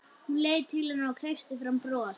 Hún leit til hennar og kreisti fram bros.